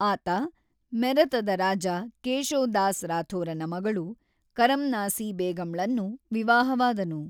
ಆತ ಮೆರತದ ರಾಜ ಕೇಶೋ ದಾಸ್ ರಾಥೋರನ ಮಗಳು ಕರಮ್ನಾಸಿ ಬೇಗಂಳನ್ನು ವಿವಾಹವಾದನು.